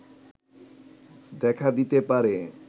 দেখা দিতে পারে